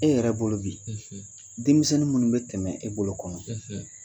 E yɛrɛ bolo bi denmisɛn minnu bɛ tɛmɛ e bolo kɔnɔ